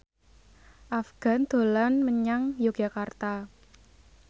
Afgan dolan menyang Yogyakarta